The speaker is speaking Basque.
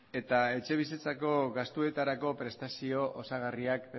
eta etxebizitzako gastuetarako prestazio osagarriak